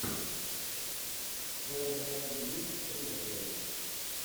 в твоем каталоге есть ривердейл